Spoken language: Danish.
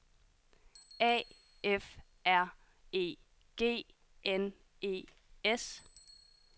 A F R E G N E S